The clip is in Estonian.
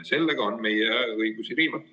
Ja sellega on meie õigusi riivatud.